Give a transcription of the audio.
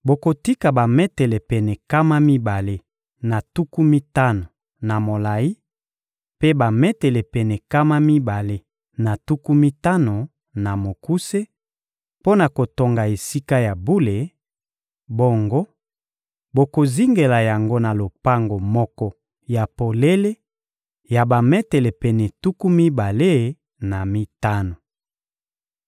Bokotika bametele pene nkama mibale na tuku mitano na molayi, mpe bametele pene nkama mibale na tuku mitano na mokuse mpo na kotonga Esika ya bule; bongo bokozingela yango na lopango moko ya polele ya bametele pene tuku mibale na mitano.